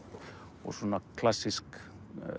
og svona klassísk